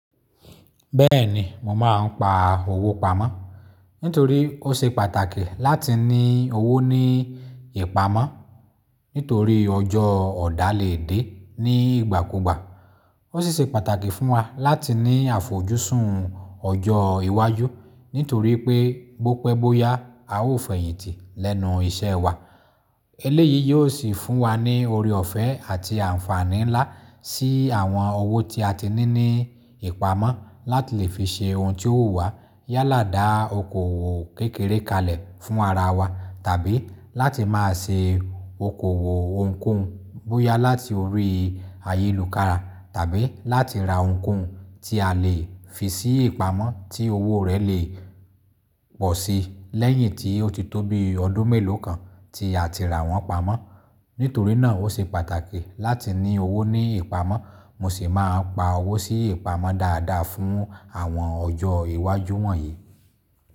Bẹ́ẹ̀ni mo máa ń pa owó pamọ̀. Nítorí ó ṣe pàtàkì láti ní owó ní ìpamọ́ nítorí ọjọ́ ọ̀dà lè dé ní ìgbàkúgbà. Ó sì ṣe pàtàkì fún wa láti ní àfojúsùn ọjọ́ iwájú nítorí pé bó pẹ́ bó yá a ó fẹ̀yìntì lẹ́nu iṣẹ́ wa. Eléyìí yóò sì fún wa ní oore ọ̀fẹ́ àti àǹfààní ńlá sí àwọn owó tí a ti ní ní ìpamọ́ láti lè fi ṣe ohun tí ó wù wá yálà dá okoòwò kékeré kalẹ̀ fún ara wa. Tàbí láti máa ṣe okoòwò ohunkóhun bóyá láti orí ayélùkára tàbí láti ra ohunkóhun tí a lè fi sí ìpamọ́ tí owó rẹ̀ lè pọ̀ sii lẹ́yìn tí ó ti tó bií ọdún mélòó kan tí a ti rà wọ́n pamọ́. Nítorí náà ó ṣe pàtàkì láti ní owó ní ìpamọ́ mo sì máa n pa owó sí ìpamọ́ dáadáa fún àwọn ọjọ́ iwájú wọ̀nyí.